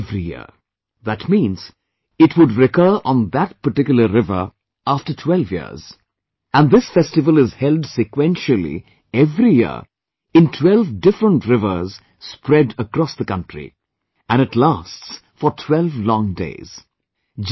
One river every year...that means it would recur on that particular river after 12 years...and this festival is held sequentially every year in 12 different rivers spread across the country ...and it lasts for 12 long days